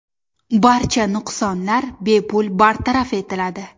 Barcha nuqsonlar bepul bartaraf etiladi.